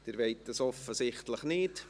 Sie wollen dies offensichtlich nicht.